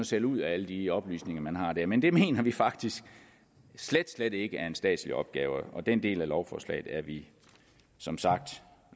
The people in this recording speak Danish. sælge ud af alle de oplysninger man har der men det mener vi faktisk slet slet ikke er en statslig opgave og den del af lovforslaget er vi som sagt